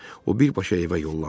O birbaşa evə yollandı.